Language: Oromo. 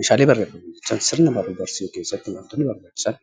Meeshaalee barreeffamaa jechuun sirna baruu fi barsiisuu keessatti wantoonni barbaachisan